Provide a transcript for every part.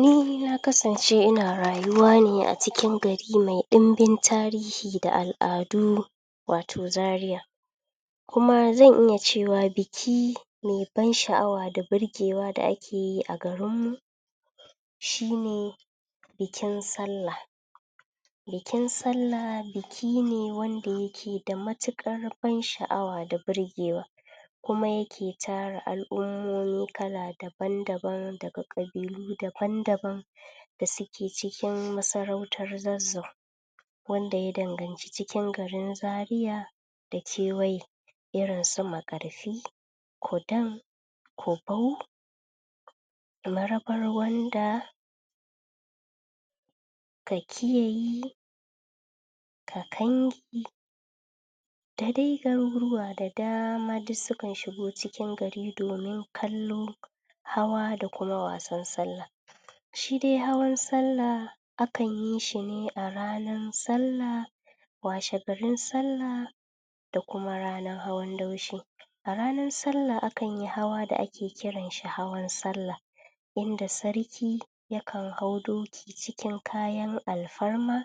Ni na kasance ina rayuwa ne a cikin gari ma ɗimbin tarihi da al'adu wato Zariya kuma zan iya cewa biki mai ban sha'awa da birgewa da ake yi a garinmu shi ne bikin Sallah Bikin Sallah biki ne wanda yake da matuƙar ban-sha'awa da birgewa kuma yake tara al'ummomi kala dabn-daban daga ƙabilu daban-daban da suke cikin masarautar Zazzau wanda ya danganci cikin garin Zariya da kewaye, irin su Makarfi, Kudan, Kubau Marabarwanda, Kakiyayi, Kakangi, da dai garuruwa da dama duk sukan shigo cikin gari domin kallo, hawa da kuma wasan Sallah. Shi dai hawan Sallah akan yi shi ne a ranar Sallah, washegarin Sallah da kuma ranar hawan Daushe A ranar Sallah, akan yi hawa da ake kiran shi hawan Sallah yanda Sarki yakan hau doki cikin kayan alfarma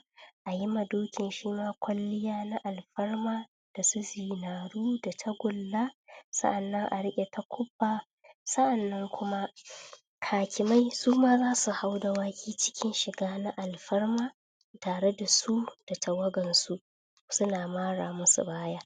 a yi ma dokin shi ma kwalliya na alfarma da su zinaru da tagulla, sa'annan a riƙe takubba, sa'annan kuma hakimai su ma za su haui dawaki cikin shiga na alfarma tare da su da tawagansu suna mara musu baya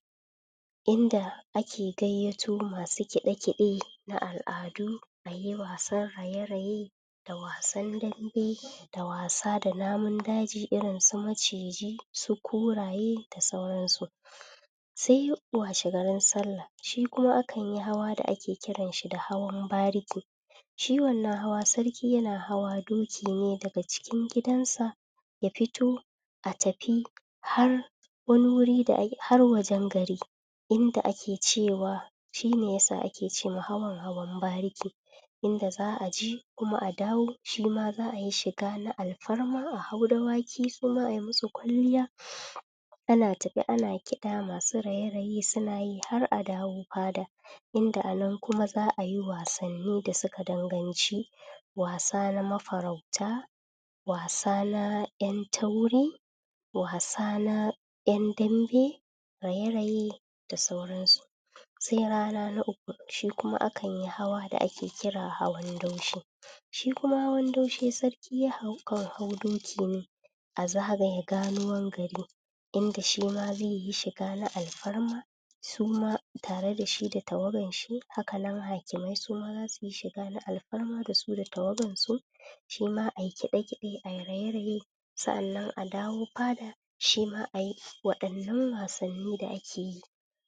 inda ake gayyato masu kiɗe-kiɗe na al'adu, ayi wasan raye-raye da wasan dambe da wasa da namun daji irin su maciji, su kuraye da sauransu. Sai washegarin Sallah. Shi kuma akan yi hawa da ake kiran shi da hawan bariki. Shi wannan hawa sarki yana hawa doki ne daga cikn gidansa ya fito a tafi har wani wuri da, har wajen gari inda ake cewa shi ne ya sa ce ma hawan, hawan bariki inda za a ji kuma a dawo. Shi ma za a yi shiga na alfarma, a hau dawaki su ma a yi musu kwalliya Ana tafe ana kiɗa; masu raye-raye suna yi hara a dawo fada inda a nan kuma za a yi wasanni da suka danganci wasa na mafarauta, wasa na ƴan tauri, wasa na ƴan dambe, raye-raye da sauransu. Sai rana na uku. Shi kuma akan yi hawa da ake kira hawan Daushe. Shi kuma hawan Daushe sarki ya hau jan hau doki ne a zagaye ganuwan gari inda shi ma zai yi shiga na alfarma, su ma tare da shi da tawagan shi; haka nan hakimai su ma shiga na algarma da su da tawagansu. Shi ma ai kiɗe-kiɗe, ai raye-raye, sa'annan a dawo fada shi ma a yi waɗannan wasanni da ake yi.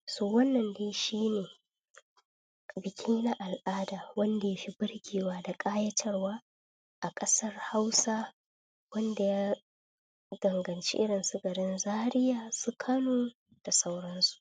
So, wannan dai shi ne biki na al'ada wanda ya fi birgewa da ƙayatarwa a ƙasar Hausa wanda ya danganci irin su garin Zaria, su Kano da sauransu.